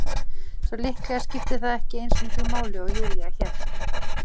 Svo líklega skipti það ekki eins miklu máli og Júlía hélt.